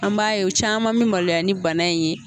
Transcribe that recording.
An m'a ye o caman mi maloya ni bana in ye.